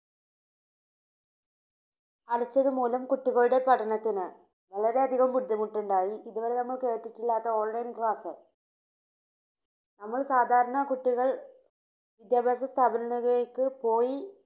അടച്ചത് മൂലം കുട്ടികളുടെ പഠനത്തിന് വളരെ അധികം ബുദ്ധിമുട്ടുണ്ടായി. ഇതുവരെ നമ്മൾ കേട്ടിട്ടില്ലാത്ത ഓൺലൈൻ ക്ലാസ് നമ്മൾ സാധാരണ കുട്ടികൾ വിദ്യാഭ്യാസ സ്ഥാപനങ്ങളിലേക്ക് പോയി